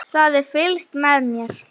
Það er fylgst með mér.